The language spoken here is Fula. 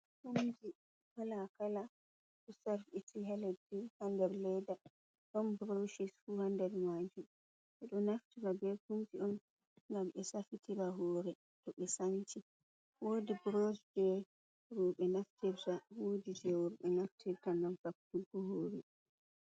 Buroshji kala kala ɗo sarɓiti ha leddi, ha nder leda, ɗon buroshi fu ha nder majum. Ɓeɗo naftira be kumji on ngam ɓe safitira hore to ɓe sanchi. Wodi burosh je roɓe naftirta wodi je worɓe naftirta ngam safutugo hore.